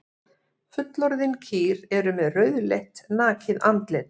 Fullorðin dýr eru með rauðleitt nakið andlit.